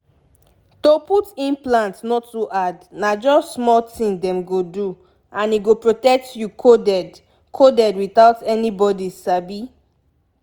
to put implant no too hard na just small thing dem go do and e go protect you coded coded without anybody sabi.